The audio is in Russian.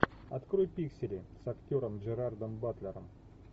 открой пиксели с актером джерардом батлером